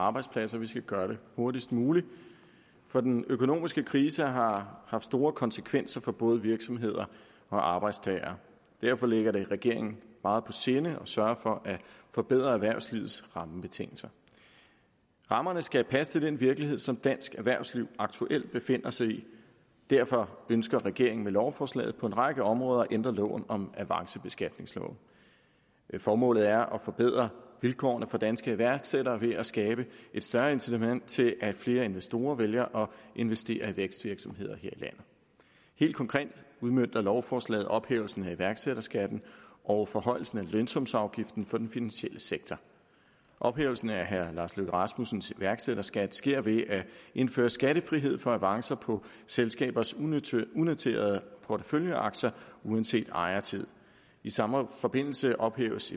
og arbejdspladser vi skal gøre det hurtigst muligt for den økonomiske krise har haft store konsekvenser for både virksomheder og arbejdstagere derfor ligger det regeringen meget på sinde at sørge for at forbedre erhvervslivets rammebetingelser rammerne skal passe til den virkelighed som dansk erhvervsliv aktuelt befinder sig i derfor ønsker regeringen med lovforslaget på en række områder at ændre loven om avancebeskatningsloven formålet er at forbedre vilkårene for danske iværksættere ved at skabe et større incitament til at flere investorer vælger at investere i vækstvirksomheder her i landet helt konkret udmønter lovforslaget ophævelsen af iværksætterskatten og forhøjelsen af lønsumsafgiften for den finansielle sektor ophævelsen af herre lars løkke rasmussens iværksætterskat sker ved at indføre skattefrihed for avancer på selskabers unoterede unoterede porteføljeaktier uanset ejertid i samme forbindelse ophæves